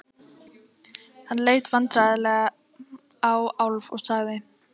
Hann leit vandræðalega á Álf og sagði